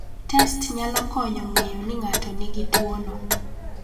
Test nyalo konyo ng�eyo ni ng�ato nigi tuono.